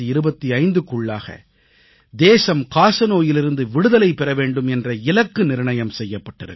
2025க்குள்ளாக தேசம் காசநோயிலிருந்து விடுதலை பெற வேண்டும் என்ற இலக்கு நிர்ணயம் செய்யப்பட்டிருக்கிறது